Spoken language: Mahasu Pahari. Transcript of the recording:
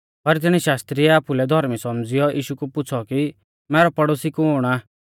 पर तिणी शास्त्री ऐ आपुलै धौर्मी सौमझ़िऔ यीशु कु पुछ़ौ कि मैरौ पड़ोसी कुण आ